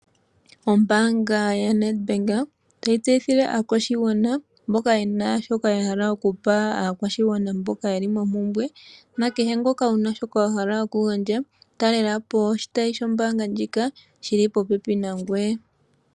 Ombaanga yo Nedbank otayi tseyithile aakwashigwana mboka ye na shoka yahala oku pa aakwashingwana mboka yeli mompumbwe, na kehe ngoka wu na shoka wa hala oku gandja, talela po oshitayi shombaanga ndjika shili popepi nangoye.